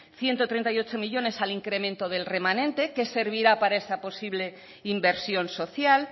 ciento treinta y ocho millónes al incremento del remanente que servirá para esa posible inversión social